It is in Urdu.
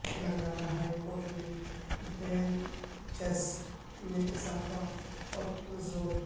تلنگانہ ہائی کورٹ میں بینچس میں اضافہ پر زور